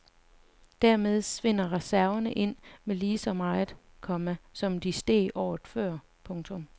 Dermed svinder reserverne ind med lige så meget, komma som de steg året før. punktum